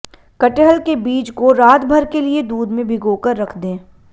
कटहल के बीज को रातभर के लिये दूध में भिगोकर रख दें